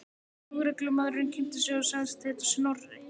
Lögreglumaðurinn kynnti sig og sagðist heita Snorri.